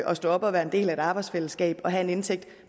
at stå op og være en del af et arbejdsfællesskab og have en indtægt